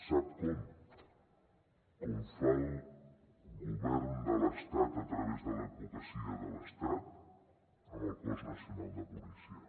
sap com com fa el govern de l’estat a través de l’advocacia de l’estat amb el cos nacional de policia